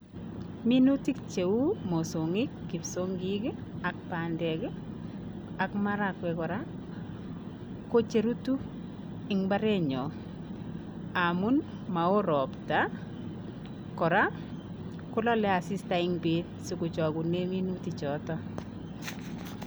Minutik cheu mosongik, kipsongiok ak bandek ak marakwek kora ko che rutu eng imbaarenyon amun maoo ropta, kora ko laale asista eng beet sikochokunee minutik choto.